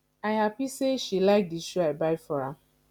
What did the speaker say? i happy say she like the shoe i buy for am